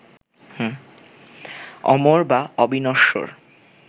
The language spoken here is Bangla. অমর বা অবিনশ্বর